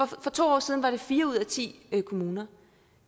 for to år siden var det fire ud af ti kommuner